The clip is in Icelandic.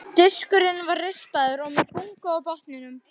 Diskurinn var rispaður og með bungu á botninum.